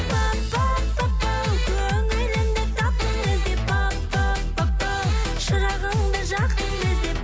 пап пап папау көңілімді таптың іздеп пап пап папау шырағымды жақтың іздеп